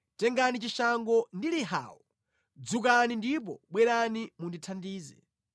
Tengani chishango ndi lihawo; dzukani ndipo bwerani mundithandize.